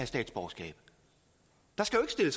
statsborgerskab der